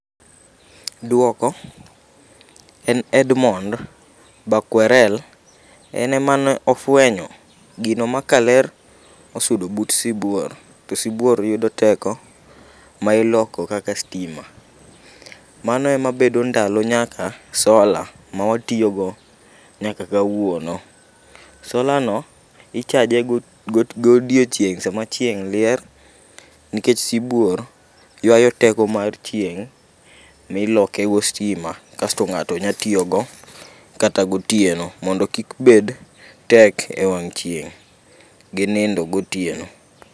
Duoko en Edmond Dokwerel .En emanofwenyo gino ma kaler osudo but siburo to sibuor yudo teko ma iloko kaka stima mano ema bedo ndalo nyaka sola ma watiyo go nyaka kawuono. Sola no ichaje go godiochieng' sama chieng' rieny nikech sibuor ywayo teko mar chieng' niloke go stima kasto , ng'ato nya tiyo go kata gotieno mondo kik bed tek e wang' chieng gi nindo gotieno.